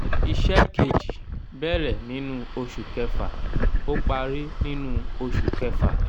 iṣẹ́ kejī bẹ̀rẹ̀ nínú oṣù kẹfà ó parí nínú oṣù kẹfà.